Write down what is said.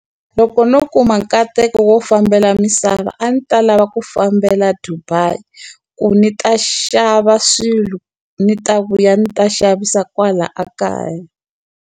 Loko no kuma nkateko wo fambela misava a ni ta lava ku fambela Dubai, ku ni ta xava swilo ni ta vuya ni ta xavisa kwala a kaya.